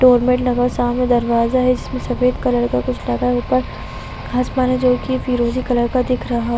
door mat लगा हुआ है सामने दरवाजा है जिसमें सफ़ेद कलर का कुछ लगा है ऊपर आसमान है जो कि फिरोजी कलर का दिख रहा --